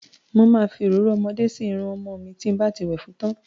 Mo ma fi òróró ọmọdé sí irun ọmọ mi tí n bá ti wẹ̀ fún tán.